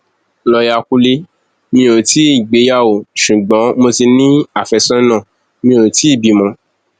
lọyà kúnlemí ò tí ì gbéyàwó ṣùgbọn mo ti ní àfẹsọnà mi ò tì í bímọ